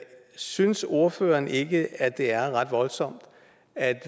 synes ordføreren ikke at det er ret voldsomt at